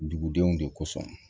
Dugudenw de kosɔn